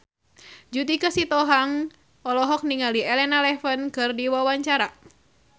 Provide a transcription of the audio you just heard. Judika Sitohang olohok ningali Elena Levon keur diwawancara